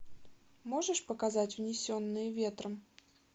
можешь показать унесенные ветром